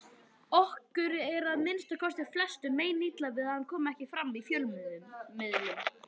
Okkur er að minnsta kosti flestum meinilla við að hann komi ekki fram í fjölmiðlum.